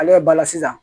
Ale yɛrɛ bala sisan